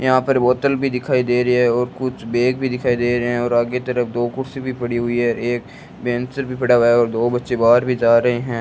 यहां पर बोतल भी दिखाई दे रही है और कुछ बैग भी दिखाई दे रहे हैं और आगे तरफ दो कुर्सी भी पड़ी हुई है एक पेंसिल भी पड़ा हुआ है और दो बच्चे बाहर भी जा रहे हैं।